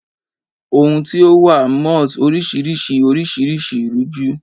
Ohun tio wa malls oriširiši orisirisi ruju